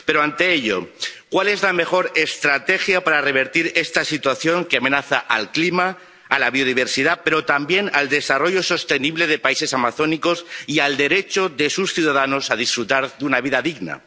Pero, ante ello, ¿cuál es la mejor estrategia para revertir esta situación que amenaza al clima, a la biodiversidad, pero también al desarrollo sostenible de los países amazónicos y al derecho de sus ciudadanos a disfrutar de una vida digna?